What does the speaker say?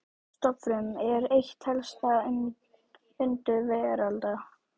Stofnfrumur eru eitt helsta undur veraldar.